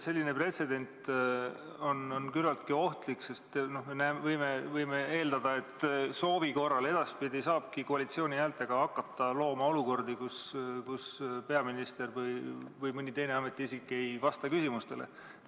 Selline pretsedent on päris ohtlik, sest võime eeldada, et edaspidi saabki soovi korral koalitsiooni häältega hakata looma olukordi, kus peaminister või mõni teine ametiisik ei vasta küsimustele.